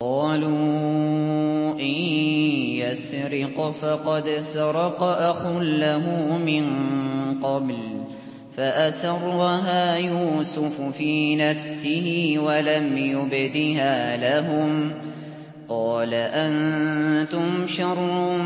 ۞ قَالُوا إِن يَسْرِقْ فَقَدْ سَرَقَ أَخٌ لَّهُ مِن قَبْلُ ۚ فَأَسَرَّهَا يُوسُفُ فِي نَفْسِهِ وَلَمْ يُبْدِهَا لَهُمْ ۚ قَالَ أَنتُمْ شَرٌّ